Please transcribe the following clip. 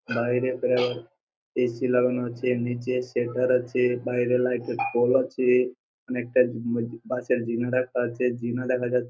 বাইরের প্রায় এ.সি লাগানো আছে নিচে শেখর আছে বাইরে লাইট এর এর পোল আছে অনেকটা বাসের রাখা আছে দেখা যা--